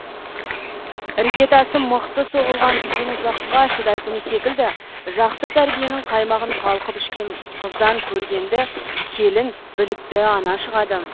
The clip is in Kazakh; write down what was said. іргетасы мықты соғылған үйдің ұзаққа шыдайтыны секілді жақсы тәрбиенің қаймағын қалқып ішкен қыздан көргенді келін білікті ана шығады